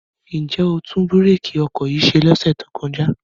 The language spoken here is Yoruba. Ǹ jẹ́ o tún bírèkì ọkọ̀ yìí ṣe lọ́sẹ̀ tó kọjá?